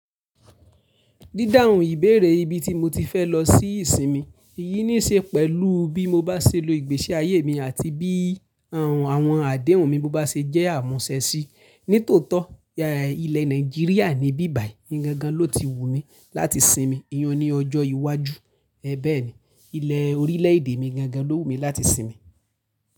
Dídáhun ìbéèrè ibi tí mo ti fẹ́ lọ sí ìsinmi, iyí ní ṣe pẹ̀lú bí mo bá ṣe lo ìgbésí ayé mi àti bí àwọn àdéhùn mi bá ṣe jẹ́ àmúṣẹ sí. Nítòótọ́, ilẹ̀ Nàìjíríà ní bíbàyí gangan ló ti wù mí láti sinmi. Iyi un ni ọjọ́ iwájú, ẹ bẹ́ẹ̀ni, ilẹ̀ orílẹ̀èdè mi gangan ló wù mí láti sinmi.